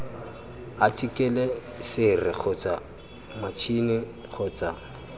athikele sere kgotsa matšhini kgotsa